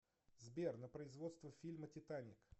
сбер на производство фильма титаник